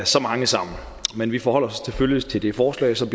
så mange sammen men vi forholder os selvfølgelig til det forslag som